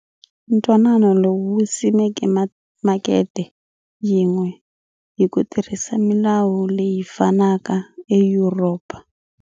Ntwanano lowu wu simeke makete yin'we hi ku tirhisa milawu leyi fanaka e Yuropa.